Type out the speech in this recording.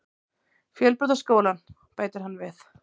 Fjölbrautaskólann, bætir hann við.